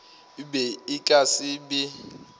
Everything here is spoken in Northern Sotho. be e ka se be